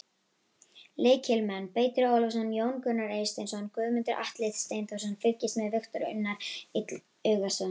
Lykilmenn: Beitir Ólafsson, Jón Gunnar Eysteinsson, Guðmundur Atli Steinþórsson: Fylgist með: Viktor Unnar Illugason.